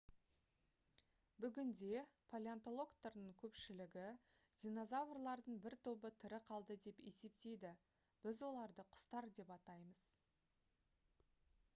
бүгінде палеонтологтардың көпшілігі динозаврлардың бір тобы тірі қалды деп есептейді біз оларды құстар деп атаймыз